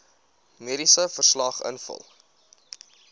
mediese verslag invul